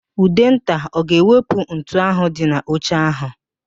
Ụdenta ọ ga-ewepụ ntu ahụ dị n'oche ahụ?